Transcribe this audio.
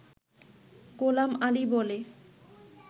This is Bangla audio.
গোলাম আলি বলে